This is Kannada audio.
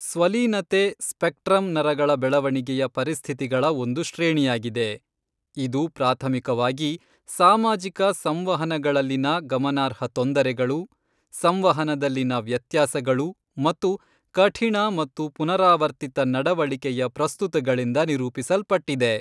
ಸ್ವಲೀನತೆ ಸ್ಪೆಕ್ಟ್ರಮ್ ನರಗಳ ಬೆಳವಣಿಗೆಯ ಪರಿಸ್ಥಿತಿಗಳ ಒಂದು ಶ್ರೇಣಿಯಾಗಿದೆ, ಇದು ಪ್ರಾಥಮಿಕವಾಗಿ ಸಾಮಾಜಿಕ ಸಂವಹನಗಳಲ್ಲಿನ ಗಮನಾರ್ಹ ತೊಂದರೆಗಳು, ಸಂವಹನದಲ್ಲಿನ ವ್ಯತ್ಯಾಸಗಳು ಮತ್ತು ಕಠಿಣ ಮತ್ತು ಪುನರಾವರ್ತಿತ ನಡವಳಿಕೆಯ ಪ್ರಸ್ತುತಿಗಳಿಂದ ನಿರೂಪಿಸಲ್ಪಟ್ಟಿದೆ.